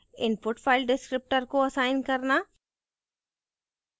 input file descriptor को assign करना